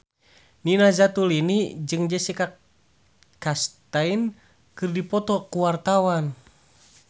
Nina Zatulini jeung Jessica Chastain keur dipoto ku wartawan